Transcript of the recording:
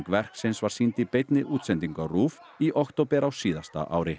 verksins var sýnd í beinni útsendingu á RÚV í október á síðasta ári